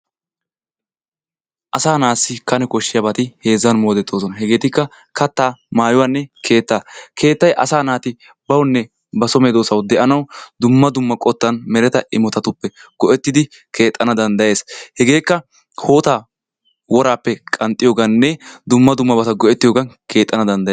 Asaa naassi kane koshshiyaabati heezzan moodetoosona. Hegeetikka kattaa, maayuwanne keettaa. Keettay asaa naati bawunne ba soo medoosaw de'anaw dumma dumma qottan meretta immotatuppe go''ettidi keexxana danddayees. Hegekka hootta worappe qanxxiyooganne dumma dummabata go''ettiyoogan keexxana danddaye.